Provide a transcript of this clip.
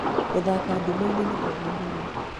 gũthaka nduma-inĩ nĩ kwega mũno